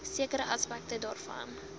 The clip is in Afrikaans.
sekere aspekte daarvan